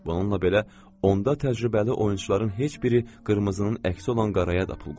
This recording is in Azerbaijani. Bununla belə, onda təcrübəli oyunçuların heç biri qırmızının əksi olan qaraya da pul qoymur.